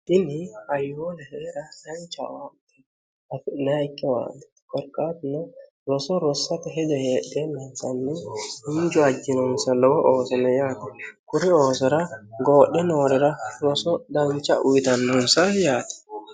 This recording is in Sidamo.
ini aiwoola hee'ra danchawati hafi'naikkewaanni korqaatno roso rossata hejo heedhee meensanni hinju ajjinonsa lowo oosono yaate kuri oosora goodhe noorira roso dancha uyitannunsa yaate